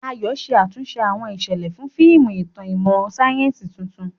Ayo ṣe àtúnṣe àwọn ìṣẹ̀lẹ̀ fún fíìmù ìtàn ìmọ̀ sáyẹ́sì tuntun.